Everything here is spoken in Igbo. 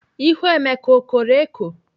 Ihu Emeka o koro eko?